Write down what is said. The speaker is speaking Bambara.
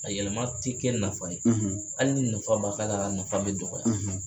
A yɛlɛma tɛ kɛ nafa ye hali ni nafa b'a k'a a nafa bɛ dɔgɔya